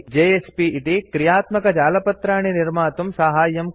JSP इति क्रियात्मकजालपत्राणि निर्मातुं साहाय्यं करोति